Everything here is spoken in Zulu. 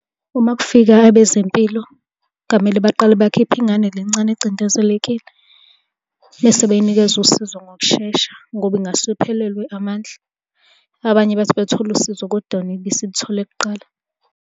Uma kufika abezempilo, ngamele baqale bakhiphe ingane le ncane ocindezelekile, bese beyinikeza usizo ngokushesha, ngoba ingase iphelelwe amandla. Abanye bethi bethola usizo, kodwa yona ibe isilithole kuqala.